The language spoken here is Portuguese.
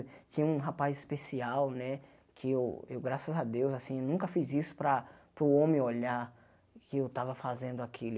Tinha um rapaz especial, né, que eu eu, graças a Deus, assim, nunca fiz isso para para o homem olhar que eu tava fazendo aquilo.